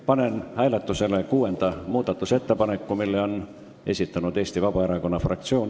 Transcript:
Panen hääletusele kuuenda muudatusettepaneku, mille on esitanud Eesti Vabaerakonna fraktsioon.